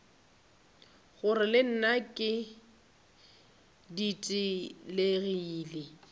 gore le nna ke ditelegile